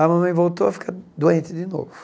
A mamãe voltou a ficar doente de novo.